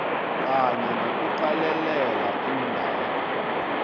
kanye nokuqalelela iindaba